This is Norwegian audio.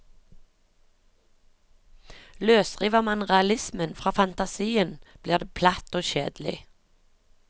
Løsriver man realismen fra fantasien blir det platt og kjedelig.